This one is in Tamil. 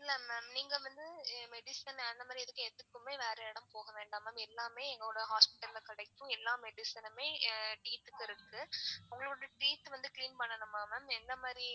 இல்ல ma'am நீங்க வந்து medicine அந்த மாதிரி இதுக்கு எதுக்குமே வேற இடம் போகவேண்டாம் ma'am எல்லாமே எங்களோட hospital ல கிடைக்கும் எல்லா medicine னுமே teeth க்கு இருக்கு. உங்களோட teeth வந்து clean பண்ணனுமா ma'am? எந்த மாரி